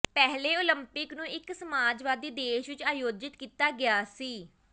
ਪਹਿਲੇ ਓਲੰਪਿਕ ਨੂੰ ਇੱਕ ਸਮਾਜਵਾਦੀ ਦੇਸ਼ ਵਿੱਚ ਆਯੋਜਿਤ ਕੀਤਾ ਗਿਆ ਸੀ